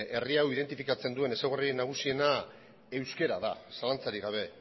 herri hau identifikatzen duen ezaugarri nagusiena euskera da zalantzarik gabe